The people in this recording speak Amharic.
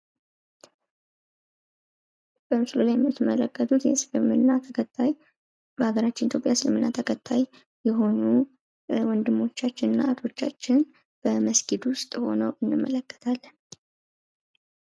በምስሉ ላይ የምትመለከቱት የእስልምና ተከታይ በሀገራችን በኢትዮጵያ እስልምና ተከታይ የሆኑ ወንድሞቻችንና እህቶቻችን በመስጊድ ውስጥ ሆነው እንመለከታለን ።